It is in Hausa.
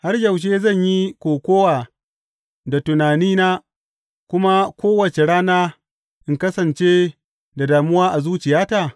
Har yaushe zan yi kokawa da tunanina kuma kowace rana in kasance da damuwa a zuciyata?